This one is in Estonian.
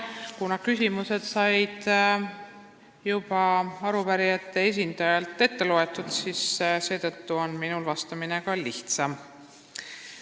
Kuna küsimused luges arupärijate esindaja juba ette, siis on minul vastamine seetõttu lihtsam.